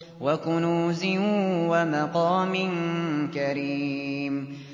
وَكُنُوزٍ وَمَقَامٍ كَرِيمٍ